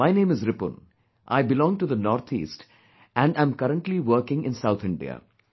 My name is Ripun...I belong to the NorthEast, and am currently working in south India